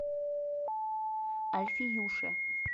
альфиюше